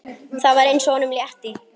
Það var eins og honum létti.